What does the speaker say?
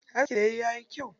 Askin da yayi ya yi kyau.